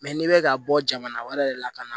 n'i bɛ ka bɔ jamana wɛrɛ de la ka na